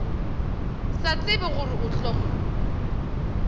sa tsebe gore o tla